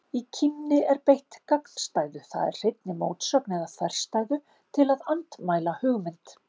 Í kímni er beitt gagnstæðu, það er hreinni mótsögn eða þverstæðu, til að andmæla hugmynd.